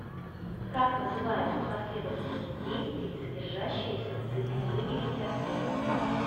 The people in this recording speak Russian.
как называется последовательность действий содержащаяся в цикле выберите ответ